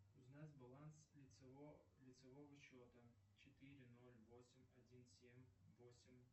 узнать баланс лицевого счета четыре ноль восемь один семь восемь